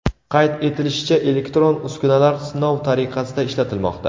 Qayd etilishicha, elektron uskunalar sinov tariqasida ishlatilmoqda.